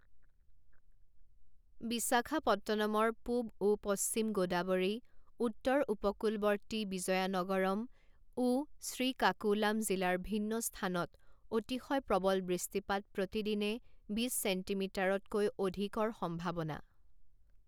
বিশাখাপট্টনমৰ পূব ও পশ্চিম গোদাবৰী, উত্তৰ উপকূলবৰ্তী বিজয়ানগৰম ও শ্ৰীকাকুলাম জিলাৰ ভিন্ন স্থানত অতিশয় প্ৰবল বৃষ্টিপাত প্ৰতি দিনে বিছ ছেণ্টিমিটাৰতকৈ অধিক ৰ সম্ভাৱনা